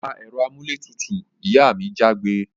Pa èro amúlé tutù! Ìyá mi jágbe